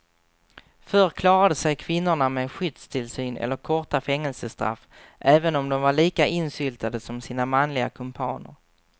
Förr klarade sig kvinnorna med skyddstillsyn eller korta fängelsestraff även om de var lika insyltade som sina manliga kumpaner.